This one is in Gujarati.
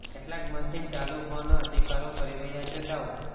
કેટલાક મશીન ચાલુ હોવાનો અધિકારીઓ કરી રહ્યા છે દાવો